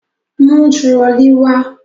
Mú turọlí wá!